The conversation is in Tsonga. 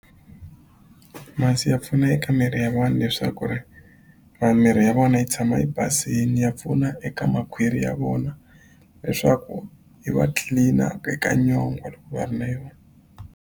Masi ya pfuna eka miri ya vanhu leswaku ri vanhu mirhi ya vona yi tshama yi basini ya pfuna eka makhwiri ya vona leswaku yi va clean-a eka nyongwha loko va ri na yona.